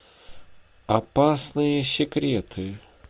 опасные секреты